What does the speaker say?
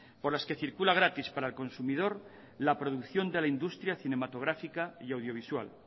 por las que circula gratis para el consumidor la producción de la industria cinematográfica y audiovisual